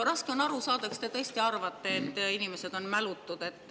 Raske on aru saada, kas te tõesti arvate, et inimesed on ilma mäluta.